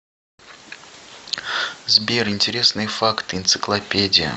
сбер интересные факты энциклопедия